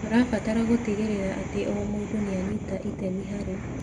Tũrabatara gũtigĩrĩra atĩ o mũndũ nĩ anyita itemi harĩ